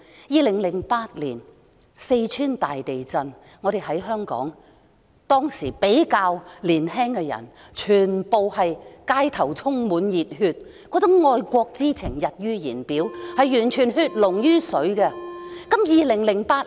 2008年，四川大地震，香港比較年輕的人充滿熱血，走上街頭捐款，愛國之情溢於言表，展現血濃於水的情懷。